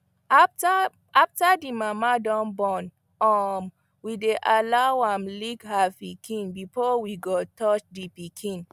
after the mama dun born um we dy allow am lick her pikin before we go touch the pikin